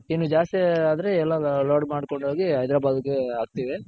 ಇನ್ನು ಜಾಸ್ತಿ ಆದ್ರೆ ಎಲ್ಲ load ಮಾಡ್ಕೊಂಡ್ ಹೋಗಿ ಹೈದರಾಬಾದ್ಗೆ ಹಾಕ್ತಿವಿ.